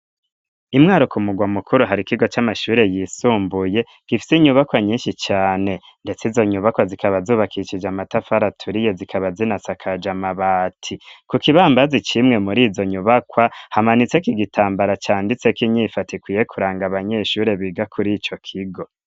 I Mwaro ku mugwa mukuru, hari ikigo c'amashure yisumbuye gifise inyubakwa nyinshi cane. Ndetse izo nyubakwa zikaba zubakishije amatafari aturiye zikaba zinasakaje amabati. Ku kibambazi c'imwe muri izo nyubakwa hamanitseko igitambara canditseko inyifato ikwiye kuranga abanyeshure biga kuri ico kigo.